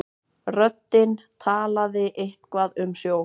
Röddin talaði eitthvað um sjó.